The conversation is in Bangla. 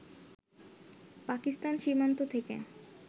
পাকিস্তান সীমান্ত থেকে